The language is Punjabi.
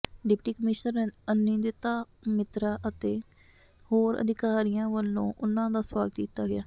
ਡਿਪਟੀ ਕਮਿਸ਼ਨਰ ਅਨਿੰਦਿਤਾ ਮਿਤਰਾ ਅਤੇ ਹੋਰ ਅਧਿਕਾਰੀਆਂ ਵੱਲੋਂ ਉਨ੍ਹਾਂ ਦਾ ਸਵਾਗਤ ਕੀਤਾ ਗਿਆ